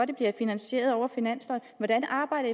det bliver finansieret over finansloven hvordan arbejder